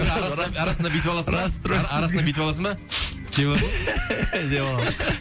арасында арасында бүйтіп аласың да арасында бүйтіп аласың ба деп деп алам